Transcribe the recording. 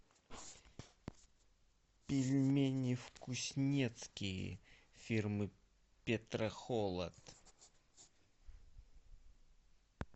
пельмени вкуснецкие фирмы петрохолод